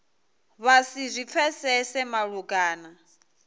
vha si zwi pfesese malugana